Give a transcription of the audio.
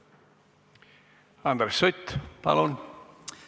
Andres Sutt, palun!